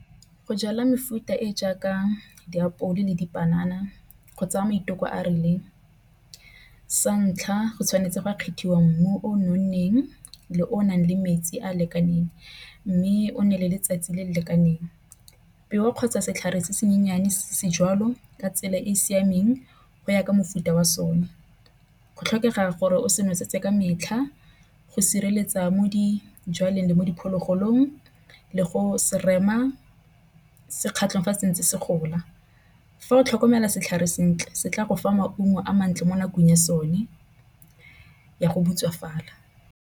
Go jala mefuta tse jaaka diapole ke dipanana go tsaya maiteko a rileng. Sa ntlha, go tshwanetse go kgethwa mmu o nonneng le o nang le metsi a lekaneng mme o nne le letsatsi le le lekaneng. Peo kgotsa setlhare se se nyenyane se jalo ka tsela e siameng go ya ka mofuta wa sone. Go tlhokega gore o se nosetse ka metlha. Go sireletsa mo dijalong le mo diphologolong le go se rema se kgatlhang fa se ntsi se gola. Fa o tlhokomela setlhare sentle se tla go fa maungo a mantle mo nakong ya sone ya go butswafala.